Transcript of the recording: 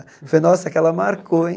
Falei, nossa, aquela marcou, hein?